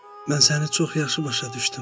Mən səni çox yaxşı başa düşdüm.